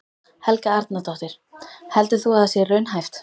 Helga Arnardóttir: Heldur þú að það sé raunhæft?